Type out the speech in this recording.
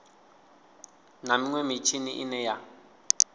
na minwe mitshini ine ya